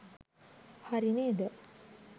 හරි නේද.